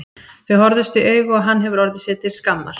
Þau horfðust í augu og hann hefur orðið sér til skammar.